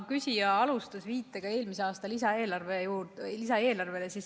Küsija alustas viitega eelmise aasta lisaeelarvele.